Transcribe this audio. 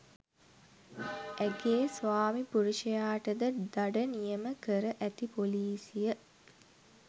ඇගේ ස්වාමි පුරුෂයාටද දඩ නියම කර ඇති පොලීසිය